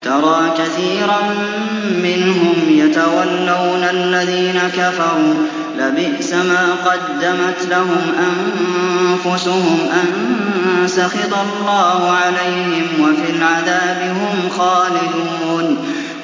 تَرَىٰ كَثِيرًا مِّنْهُمْ يَتَوَلَّوْنَ الَّذِينَ كَفَرُوا ۚ لَبِئْسَ مَا قَدَّمَتْ لَهُمْ أَنفُسُهُمْ أَن سَخِطَ اللَّهُ عَلَيْهِمْ وَفِي الْعَذَابِ هُمْ خَالِدُونَ